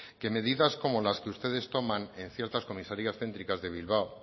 que medidas como las que ustedes toman en ciertas comisarias céntricas de bilbao